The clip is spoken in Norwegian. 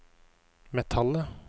metallet